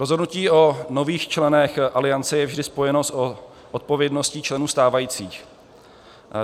Rozhodnutí o nových členech Aliance je vždy spojeno s odpovědností členů stávajících.